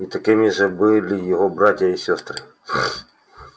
и такими же были его братья и сёстры